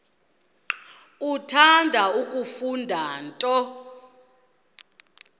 uthanda kufunda nto